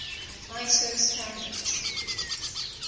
iso standards